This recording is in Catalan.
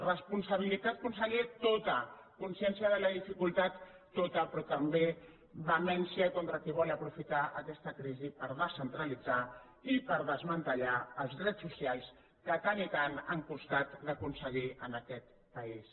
responsabilitat conseller tota consciència de la dificultat tota però també vehemència contra qui vol aprofitar aquesta crisi per descentralitzar i per desmantellar els drets socials que tant i tant han costat d’aconseguir en aquest país